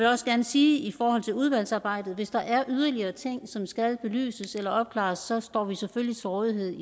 også gerne sige i forhold til udvalgsarbejdet at hvis der er yderligere ting som skal belyses eller opklares så står vi selvfølgelig til rådighed